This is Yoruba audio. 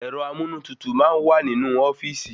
Ẹ̀rọ amúnútutù máa n wa ninu ofíìsì